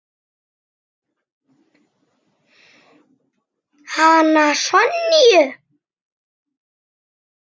Hana Sonju?